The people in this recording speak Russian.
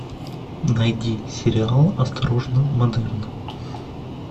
найди сериал осторожно модерн